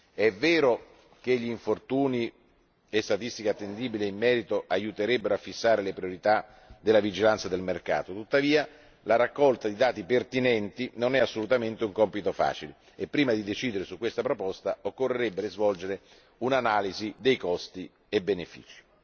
È vero che gli infortuni e statistiche attendibili in merito aiuterebbero a fissare le priorità della vigilanza del mercato, tuttavia la raccolta di dati pertinenti non è assolutamente un compito facile e prima di decidere su questa proposta occorrerebbe svolgere un'analisi dei costi e benefici.